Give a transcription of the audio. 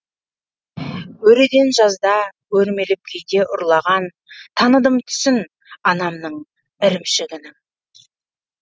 өреден жазда өрмелеп кейде ұрлаған таныдым түсін анамның ірімшігінің